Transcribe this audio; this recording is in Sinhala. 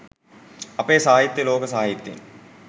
අපේ සාහිත්‍යය ලෝක සාහිත්‍යයෙන්